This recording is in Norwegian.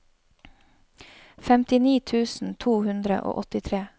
femtini tusen to hundre og åttitre